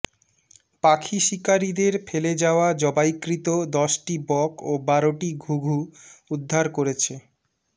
পাখি শিকারীদের ফেলে যাওয়া জবাইকৃত দশটি বক ও বারোটি ঘুঘু উদ্ধার করেছে